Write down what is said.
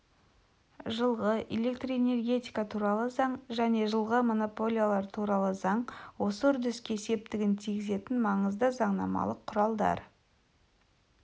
жылғы электрэнергетика туралы заң және жылғы монополиялар туралы заң осы үрдіске септігін тигізетін маңызды заңнамалық құралдар